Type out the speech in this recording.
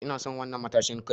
Ina son wadan'nan matashin Kai.